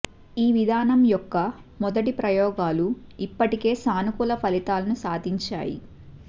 ఈ విధానం యొక్క మొదటి ప్రయోగాలు ఇప్పటికే సానుకూల ఫలితాలను సాధించాయి